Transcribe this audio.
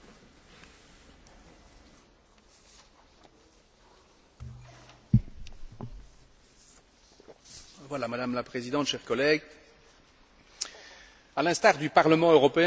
Madame la Présidente, chers collègues, à l'instar du Parlement européen, le Conseil a adopté des conclusions sur le livre vert concernant la gestion des biodéchets dans l'Union européenne,